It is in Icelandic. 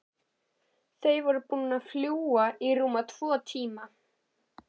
Þau voru búin að fljúga í rúma tvo tíma.